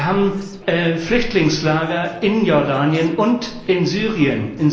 Wir haben Flüchtlingslager in Jordanien und in Syrien.